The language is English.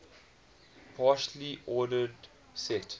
partially ordered set